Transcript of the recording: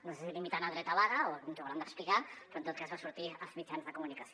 no sé si limitant el dret a vaga o ens ho hauran d’explicar però en tot cas va sortir als mitjans de comunicació